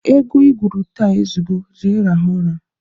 Egwu igwuru taa ezugo, jee rahụ ụra!